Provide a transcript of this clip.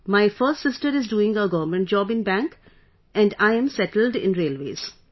My first sister is doing a government job in bank and I am settled in railways